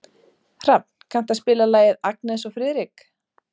Hrafn, kanntu að spila lagið „Agnes og Friðrik“?